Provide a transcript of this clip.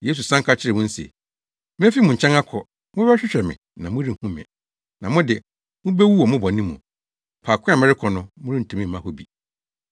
Yesu san ka kyerɛɛ wɔn se, “Mefi mo nkyɛn akɔ; mobɛhwehwɛ me na morenhu me. Na mo de, mubewu wɔ mo bɔne mu. Faako a merekɔ no morentumi mma hɔ bi.”